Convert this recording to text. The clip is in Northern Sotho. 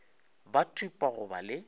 ba thupa go ba le